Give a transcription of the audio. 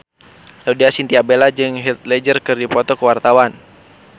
Laudya Chintya Bella jeung Heath Ledger keur dipoto ku wartawan